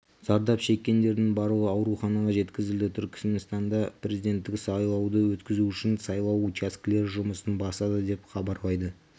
зардап шеккендердің барлығы ауруханаға жеткізілді түркіменстанда президенттік сайлауды өткізу үшін сайлау учаскелері жұмысын бастады деп хабарлайды